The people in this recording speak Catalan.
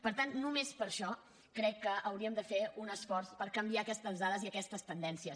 per tant només per això crec que hauríem de fer un esforç per canviar aquestes dades i aquestes tendències